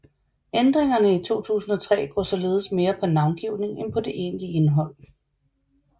Ændringerne i 2003 går således mere på navngivning end på det egentlige indhold